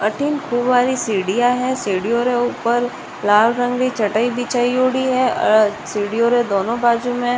अठीन खूब सारी सिडिया है सीढ़ियों रे ऊपर लाल रंग की चटाई बिछओडीह है और सीढ़ियों रे दोनों बाजु में --